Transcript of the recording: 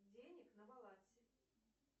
денег на балансе